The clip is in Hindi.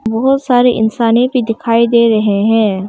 बहुत सारे इंसाने भी दिखाई दे रहे हैं।